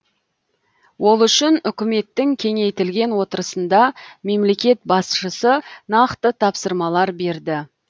ол үшін үкіметтің кеңейтілген отырысында мемлекет басшысы нақты тапсырмалар берді